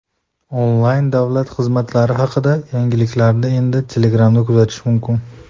Onlayn davlat xizmatlari haqida yangiliklarni endi Telegram’da kuzatish mumkin.